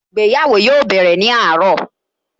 Ìgbéyàwó yóò bẹ̀rẹ̀ ní àárọ̀